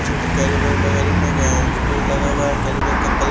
छोटे carry bag वगैरह में एक अ पेड़ लगा हुआ है कैरी बैग का कल--